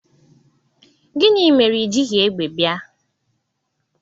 Gini mere i jighi egbe bia?